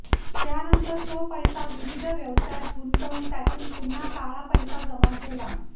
त्यानंतर तो पैसा विविध व्यवसायात गुंतवून त्यातून पुन्हा काळा पैसा जमा केला